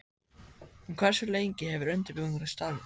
En hversu lengi hefur undirbúningurinn staðið?